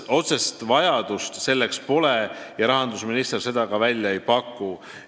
Otsest vajadust selleks küll pole ja rahandusminister seda välja ei paku.